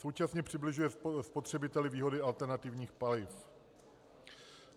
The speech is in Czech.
Současně přibližuje spotřebiteli výhody alternativních paliv.